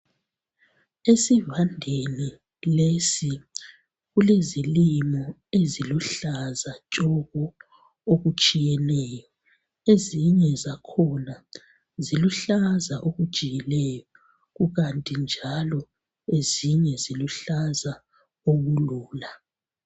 Esivandeni lesi kulezilimo eziluhlaza tshoko. Okutshiyeneyo. Ezinye zakhona ziluhlaza okujiyileyo kukanti njalo ezinye ziluhlaza okulula.